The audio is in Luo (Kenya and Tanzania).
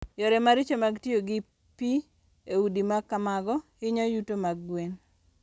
Yore maricho mag tiyo gi pi e udi ma kamago hinyo yuto mag gwen.